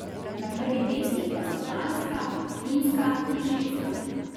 Na prvih mestih pa so Danska, Finska in Švedska.